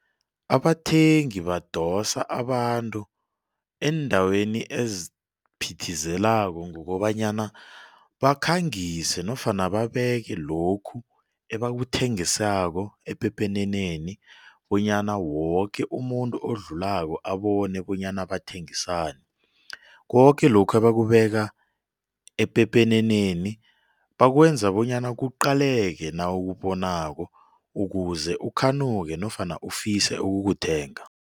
Abathengi badosa abantu eendaweni eziphithizelako ngokobanyana bakhangise nofana babeke lokhu ebakuthengisako epepeneneni bonyana woke umuntu odlulako abone bonyana bathengisani. Koke lokhu ebakubeka epepeneneni bakwenza bonyana kuqaleke nawubonako ukuze ukhanuke nofana ufise ukukuthenga.